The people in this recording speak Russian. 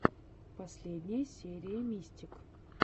последняя серия мистик